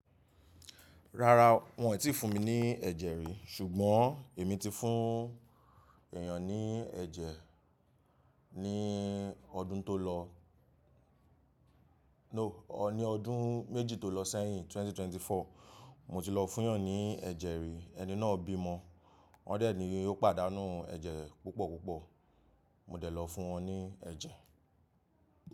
Rárá, wọ́n ò tí fún mi ní ẹ̀jẹ̀ rí ṣùgbọ́n èmi ti fún èèyàn ní ẹ̀jẹ̀ ní ọdún tó lọ. No, ọ́ ní ọdún méjì tó lọ sẹ́yìn 2024, mo ti lọ fún èèyàn ní ẹ̀jẹ̀ rí, ẹni náà bímọ. Wọ́n dẹ̀ ní ó pàdánù ẹ̀jẹ̀ púpọ̀ púpọ̀, mo dẹ̀ lọ fún wọn ní ẹ̀jẹ̀.